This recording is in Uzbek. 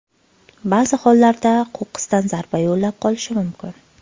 Ba’zi hollarda qo‘qqisdan zarba yo‘llab qolishi mumkin.